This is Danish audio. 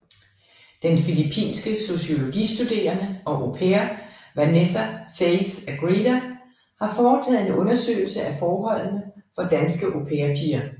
Den filipinske sociologistuderende og au pair Vanessa Faith Agreda har foretaget en undersøgelse af forholdene for danske au pair piger